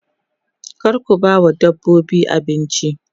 kar ku bawa dabbobin abinci